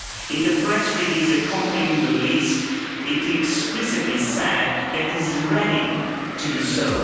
In the press release accompanying the list, it explicitly said that it is ready to do so.